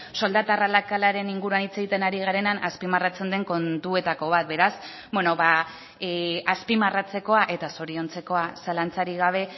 soldata arrakalaren inguruan hitz egiten ari garenean azpimarratzen den kontuetako bat beraz beno ba azpimarratzekoa eta zoriontzekoa zalantzarik gabe